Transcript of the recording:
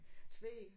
Tvede